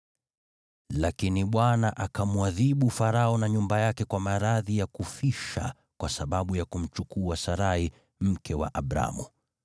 Lakini Bwana akamwadhibu Farao na nyumba yake kwa maradhi ya kufisha kwa sababu ya kumchukua Sarai, mke wa Abramu.